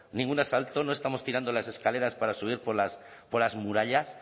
ningún asalto no estamos tirando las escaleras para subir por las murallas